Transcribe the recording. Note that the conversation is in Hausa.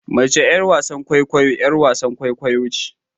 Mace yar wasan kwaikwayo yar wasan kwaikwayo ce